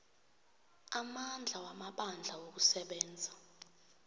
amandla wamabandla wokusebenza